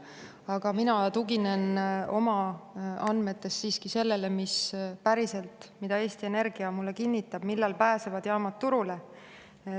Aga mina tuginen oma andmetes siiski sellele, mis on päriselt, mida Eesti Energia mulle kinnitab, millal pääsevad jaamad turule.